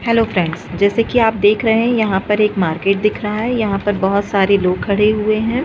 Hello friends जैसा की आप देख रहे है यहाँ पर एक मार्केट दिख रहा है यहाँ पर बहुत सारे लोग खड़े हुए है।